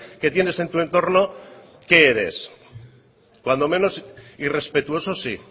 que tienes en tu entorno qué eres cuando menos irrespetuoso sí